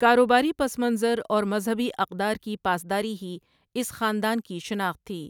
کاروباری پس منظر اور مذہبی اقدار کی پاسداری ہی اس خاندان کی شناخت تھی۔